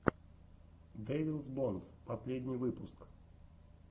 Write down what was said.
дэвилс бонс последний выпуск